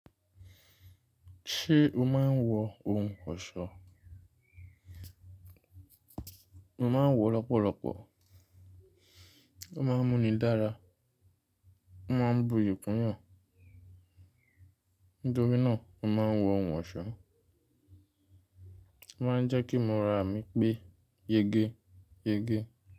Ṣé o máa ń wọ ohun ọ̀ṣọ́? Mo máa ń wọ ọ lọ́pọ̀lọ́pọ̀. Ó máa ń mú ni dára, ó máa ń buyì kún yàn. Nítorí náà, mo máa ń wọ ohun ọ̀ṣọ́. Ó máa ń jẹ́ kí ìmúra mí pé yege yege.